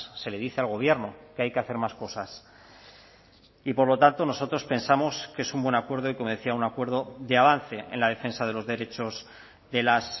se le dice al gobierno que hay que hacer más cosas y por lo tanto nosotros pensamos que es un buen acuerdo y como decía un acuerdo de avance en la defensa de los derechos de las